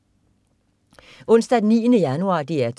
Onsdag den 9. januar - DR 2: